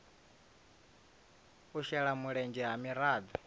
u shela mulenzhe ha miraḓo